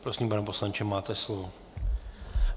Prosím, pane poslanče, máte slovo.